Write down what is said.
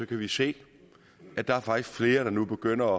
kan vi se at der faktisk er flere der nu begynder